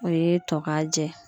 O ye tɔ k'a jɛ